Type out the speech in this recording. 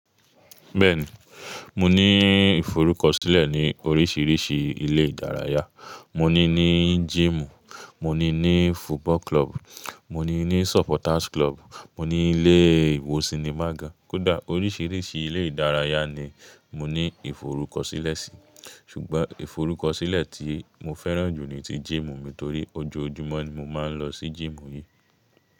Bẹ́ẹ̀ni, mo ní ìforúkọsílẹ̀ ní oríṣiríṣi ilé ìdárayá. Mo ní ní jímù, mo ní ní football club, mo ní ní supporters club, mo ní ní ilé ìwòsínima gan. Kódà oríṣiríṣi ilé ìdárayá ni mo ní ìforúkọsílẹ̀ sí. Ṣùgbọ́n ìforúkọsílẹ̀ tí mo fẹ́ràn jù ni ti jímù mi nítorí ojoojúmọ́ ni mo máa ń lọ sí jímù yìí.